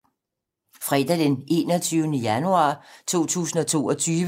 Fredag d. 21. januar 2022